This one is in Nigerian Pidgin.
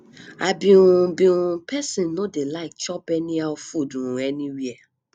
i be um be um person no dey like chop anyhow food um anywhere